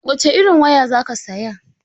Wace irin waya zaka saya?